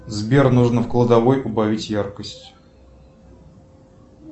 сбер нужно в кладовой убавить яркость